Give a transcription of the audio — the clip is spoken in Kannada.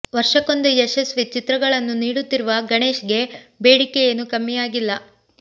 ವರ್ಷಕ್ಕೊಂದು ಯಶಸ್ವಿ ಚಿತ್ರಗಳನ್ನು ನೀಡುತ್ತಿರುವ ಗಣೇಶ್ ಗೆ ಬೇಡಿಕೆ ಏನು ಕಮ್ಮಿಯಾಗಿಲ್ಲ